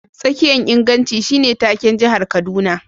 Tsakiyan inganci shine take'n jihar Kaduna.